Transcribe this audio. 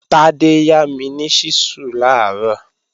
Tádé yá mi ni ṣísù làárọ̀